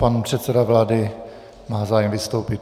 Pan předseda vlády má zájem vystoupit.